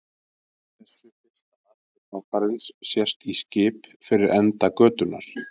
Í þessu fyrsta atriði þáttarins sést í skip fyrir enda götunnar.